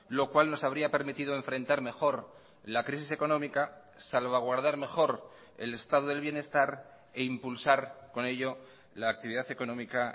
lo cual nos habría permitido enfrentar mejor la crisis económica salvaguardar mejor el estado del bienestar e impulsar con ello la actividad económica